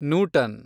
Newton